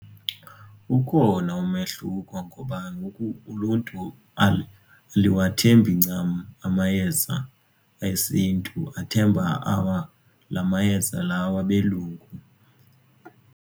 Ukhona umehluko ngoba ngoku uluntu aluwathembi ncam amayeza esintu athemba la mayeza lawo abelungu.